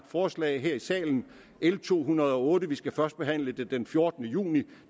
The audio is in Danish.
forslag her i salen l to hundrede og otte som vi skal førstebehandle den fjortende juni